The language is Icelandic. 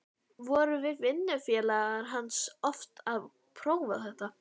Vorum við vinnufélagar hans oft að prófa þetta.